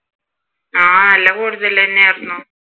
ആഹ് നല്ല കൂടുതൽ തന്നെയായിരുന്നു